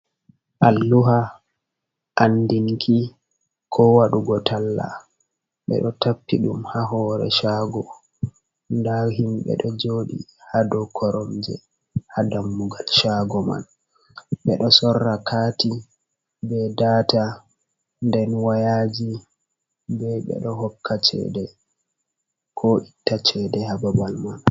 Alluha andinki ko waɗugo talla ɓe ɗo tappi ɗum ha hoore shaago, nda himɓe ɗo jooɗi ha dou koromje ha dammugal shaago man, ɓe ɗo sorra kaati be data nden wayaaji be ɓe ɗo hokka cheede, ko itta cheede ha babal man.